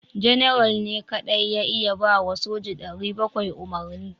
General ne kadai ya iya ba wa soja 700 umarni